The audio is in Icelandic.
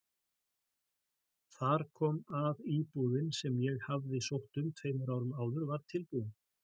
Þar kom að íbúðin sem ég hafði sótt um tveimur árum áður var tilbúin.